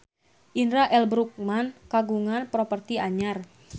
Indra L. Bruggman kagungan properti anyar